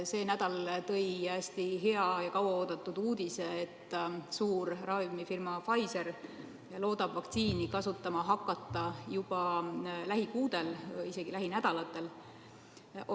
See nädal tõi hästi hea ja kaua oodatud uudise, et suur ravimifirma Pfizer loodab vaktsiini kasutama hakata juba lähikuudel, isegi lähinädalatel.